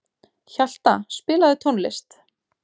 Hjalta, spilaðu tónlist.